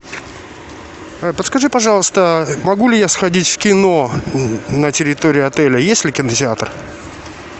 подскажи пожалуйста могу ли я сходить в кино на территории отеля есть ли кинотеатр